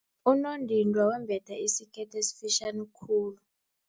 Unondindwa wembethe isikete esifitjhani khulu.